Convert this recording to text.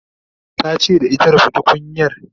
ta ce da ita "rufe tukunyar"